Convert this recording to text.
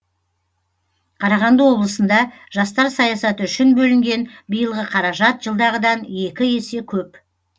қарағанды облысында жастар саясаты үшін бөлінген биылғы қаражат жылдағыдан екі есе көп